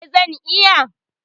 E, zan iya.